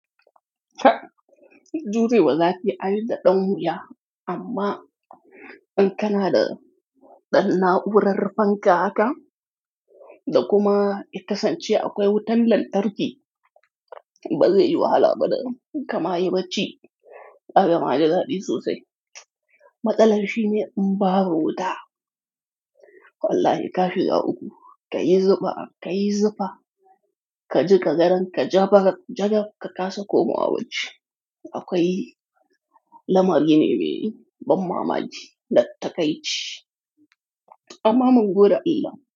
Inde da zafi ai da ɗan wuya amma in kana da ɗan na'urar fanka haka da kuma ya kasance akwai wutan lantarki, ba zai yi wahala ba da kama yi bacci. Ayaba da daɗi sosai. Matsalar shine in ba bu wuta, wallahi ka shiga uku, ka yi zufa, ka yi zufa, ka jiƙa gadon, ka jaɓa, jagab ka kasa komawa bacci. Akwai lamari ne mai ban mamaki da ta kai ci amma mun gode Allah.